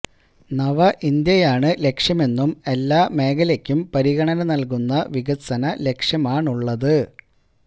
നവ ഇന്ത്യയാണ് ലക്ഷ്യമെന്നും എല്ലാ മേഖലയ്ക്കും പരിഗണന നൽകുന്ന വികസന ലക്ഷ്യമാണുള്ളത്